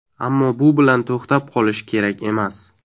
Ammo bu bilan to‘xtab qolish kerak emas.